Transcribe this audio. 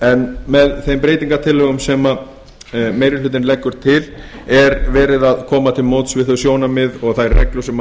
en með þeim breytingartillögum sem meiri hlutinn leggur til er verið að koma til móts við þau sjónarmið og þær reglur sem